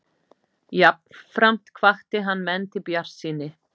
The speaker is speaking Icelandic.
Jafnframt hvatti hann menn til bjartsýni